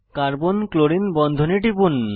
carbon chlorine বন্ধনে টিপুন